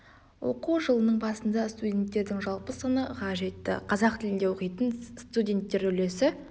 оқу жылының басында студенттердің жалпы саны ға жетті қазақ тілінде оқитын студенттер үлесі